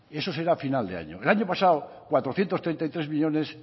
eso será a final de año el año pasado cuatrocientos treinta y tres millónes